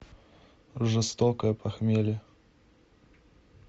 жестокое похмелье